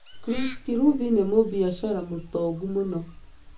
Chris Kirubi nĩ mũbiashara mũtongu mũno.